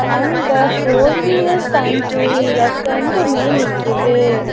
அங்க four wheelers and two wheelers ரெண்டுமே நிக்கிது.